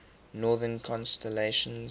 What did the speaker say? northern constellations